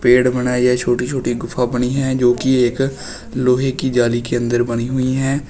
Gate बनाई है छोटी छोटी गुफा बनी है जो की एक लोहे की जाली के अंदर बनी हुई हैं।